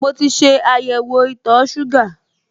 Mo ti ṣe àyẹ̀wò itọ̀ọ ṣúgà